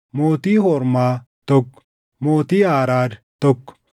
mootii Hormaa, tokko mootii Aaraad, tokko